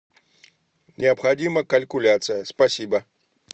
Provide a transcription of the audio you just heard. необходима калькуляция спасибо